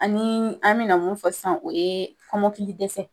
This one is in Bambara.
Anii an bena mun fɔ sisan o ye kɔmɔkili dɛsɛ